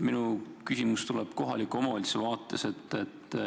Minu küsimus tuleb kohaliku omavalitsuse vaatenurgast.